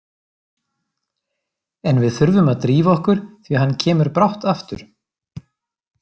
En við þurfum að drífa okkur því hann kemur brátt aftur